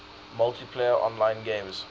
multiplayer online games